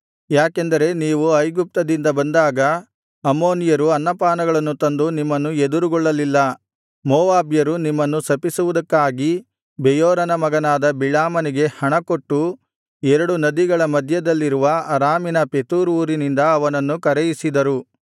ಯಾಕೆಂದರೆ ನೀವು ಐಗುಪ್ತದೇಶದಿಂದ ಬಂದಾಗ ಅಮ್ಮೋನಿಯರು ಅನ್ನಪಾನಗಳನ್ನು ತಂದು ನಿಮ್ಮನ್ನು ಎದುರುಗೊಳ್ಳಲಿಲ್ಲ ಮೋವಾಬ್ಯರು ನಿಮ್ಮನ್ನು ಶಪಿಸುವುದಕ್ಕಾಗಿ ಬೆಯೋರನ ಮಗನಾದ ಬಿಳಾಮನಿಗೆ ಹಣಕೊಟ್ಟು ಎರಡು ನದಿಗಳ ಮಧ್ಯದಲ್ಲಿರುವ ಅರಾಮಿನ ಪೆತೋರ್ ಊರಿನಿಂದ ಅವನನ್ನು ಕರೆಯಿಸಿದರು